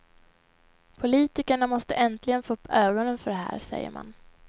Politikerna måste äntligen få upp ögonen för det här, säger man.